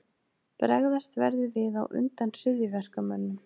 Bregðast verður við á undan hryðjuverkamönnum